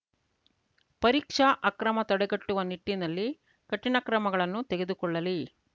ಪರೀಕ್ಷಾ ಅಕ್ರಮ ತಡೆಗಟ್ಟುವ ನಿಟ್ಟಿನಲ್ಲಿ ಕಠಿಣ ಕ್ರಮಗಳನ್ನು ತೆಗೆದುಕೊಳ್ಳಲಿ